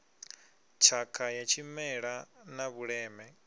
tshakha ya tshimela na vhuleme